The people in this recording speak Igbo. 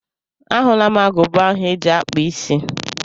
A hụla m agụba ahụ eji akpụ isí.